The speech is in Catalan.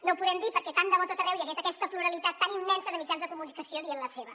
no ho podem dir perquè tant de bo a tot arreu hi hagués aquesta pluralitat tan immensa de mitjans de comunicació dient la seva